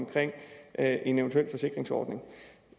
at en eventuel forsikringsordning